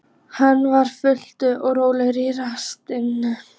Hann var fumlaus og rólegur í fasi.